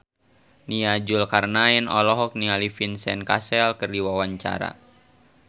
Nia Zulkarnaen olohok ningali Vincent Cassel keur diwawancara